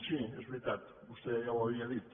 sí és veritat vostè ja ho havia dit